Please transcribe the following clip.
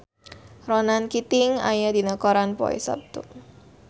Ronan Keating aya dina koran poe Saptu